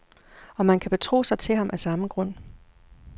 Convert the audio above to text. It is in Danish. Og man kan betro sig til ham af samme grund.